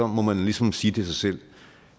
må man ligesom sige til sig selv